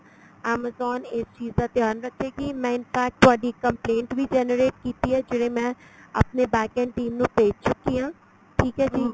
amazon ਇਸ ਚੀਜ ਦਾ ਧਿਆਨ ਰੱਖੇਗੀ ਮੈਂ infract ਤੁਹਾਡੀ complaint ਵੀ generate ਕੀਤੀ ਏ ਜਿਹੜੇ ਮੈਂ ਆਪਣੇ backend team ਨੂੰ ਭੇਜ ਚੁਕੀ ਆ ਠੀਕ ਏ ਜੀ